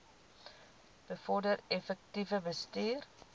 bevorder effektiewe bestuur